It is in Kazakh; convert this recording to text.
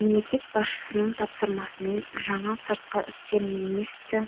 мемлекет басшысының тапсырмасымен жаңа сыртқы істер министі